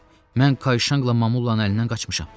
Mən Kayşanqla Mamullanın əlindən qaçmışam.